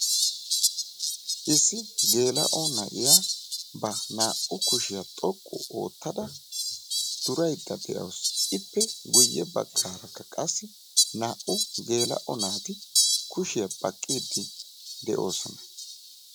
issi geela'o naiyaa ba naa'u kushiya xoqqu ootada duraydda de'awusu. qassi naa'u naatikka kushiya baqiidi de'oosona.